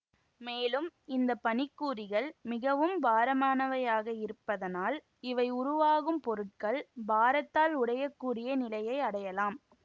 மேலும் இந்த பனிக்கூரிகள் மிகவும் பாரமானவையாக இருப்பதனால் இவை உருவாகும் பொருட்கள் பாரத்தால் உடையக் கூடிய நிலையை அடையலாம்